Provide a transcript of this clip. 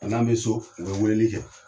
N'an be so, u be weleli kɛ.